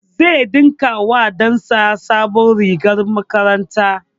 Zai ɗinka wa ɗan sa sabon rigar makaranta